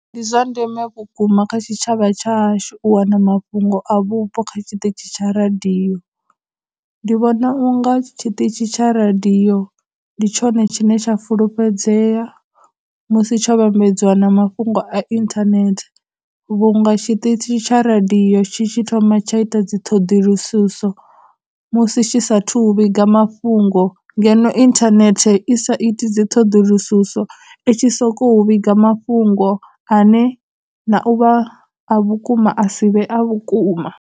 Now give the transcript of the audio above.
Ndi zwa ndeme vhukuma kha tshitshavha hashu wana mafhungo a vhupo kha tshiṱitshi tsha radio, ndi vhona unga tshiṱitshi tsha radio ndi tshone tshine tsha fulufhedzea musi tsho vhambedziwa na mafhungo a internet vhunga tshiṱitshi tsha radio tshi tshi thoma tsha ita dziṱhoḓulususo musi tshi sa thu vhiga mafhungo, ngeno internet i sa iti dziṱhoḓulususo i tshi sokou vhiga mafhungo ane na u vha a vhukuma a si vhe a vhukuma.